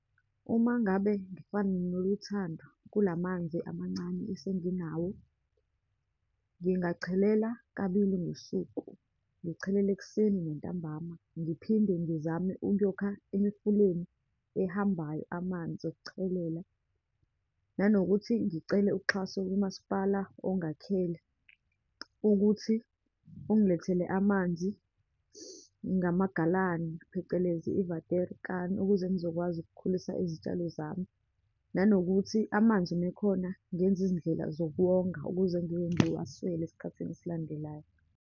Uma ngabe ngifane noLuthando kula manzi amancane esenginawo, ngingachelela kabili ngosuku, ngichelela ekuseni, nantambama. Ngiphinde ngizame ukuyokha emifuleni ehambayo, amanzi okuchelela, nanokuthi ngicele uxhaso kumaspala ongakhale ukuthi ungilethele amanzi ngamagalani, phecelezi i-waterkan, ukuze ngizokwazi ukukhulisa izitshalo zami. Nanokuthi amanzi uma ekhona, ngenze izindlela zokuwonga, ukuze ngingengiwaswele esikhathini esilandelayo.